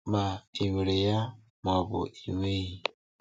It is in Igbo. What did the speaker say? Ma ị nwere ya ma ọ bụ na ị nweghị.